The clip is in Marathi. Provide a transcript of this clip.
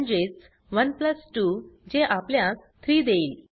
म्हणजेच 1 प्लस 2 जे आपल्यास 3 देईल